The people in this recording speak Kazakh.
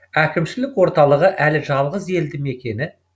әкімшілік орталығы әрі жалғыз елді мекені